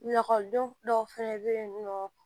Lakɔlidenw dɔw fɛnɛ bɛ yen nɔ